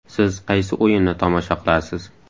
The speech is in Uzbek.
Siz qaysi o‘yinni tomosha qilasiz?.